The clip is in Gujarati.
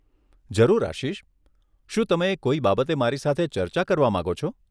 જરૂર આશિષ, શું તમે કોઈ બાબતે મારી સાથે ચર્ચા કરવા માંગો છો?